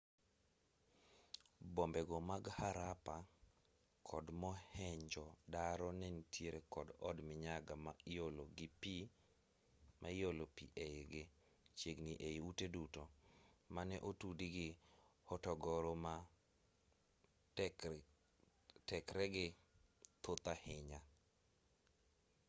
bombe go mag harappa kod mohenjo-daro ne nitiere kod od minyaga ma iolo pi eigi chiegni ei ute duto mane otudi gi hotogoro ma tekregi thoth ahinya